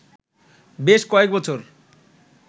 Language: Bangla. বেশ কয়েক বছর